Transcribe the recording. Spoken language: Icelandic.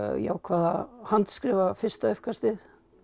ég ákvað að handskrifa fyrsta uppkastið